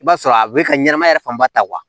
I b'a sɔrɔ a bɛ ka ɲɛnamaya yɛrɛ fanba ta wa